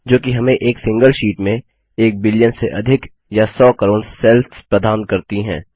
जो कि हमें एक सिंगल शीट में एक बिलियन से अधिक या सौ करोड़ सेल्स प्रदान करती है